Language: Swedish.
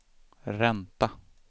ränta